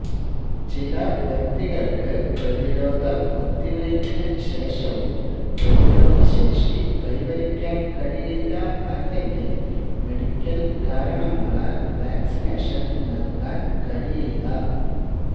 ചില വ്യക്തികൾക്ക് പ്രതിരോധ കുത്തിവയ്പിന് ശേഷവും പ്രതിരോധശേഷി കൈവരിക്കാൻ കഴിയില്ല അല്ലെങ്കിൽ മെഡിക്കൽ കാരണങ്ങളാൽ വാക്സിനേഷൻ നൽകാൻ കഴിയില്ല